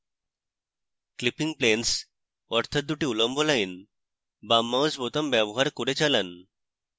clipping planes অর্থাৎ দুটি উল্লম্ব lines বাম mouse বোতাম ব্যবহার করে চালান